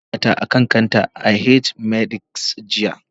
Na bar wayata a kan counter a H-medics, jiya